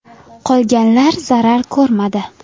Qolganlar zarar ko‘rmadi.